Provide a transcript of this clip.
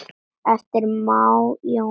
eftir Má Jónsson